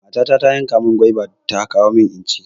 Matata ta yanka mun gwaiba ta kawo mun don inci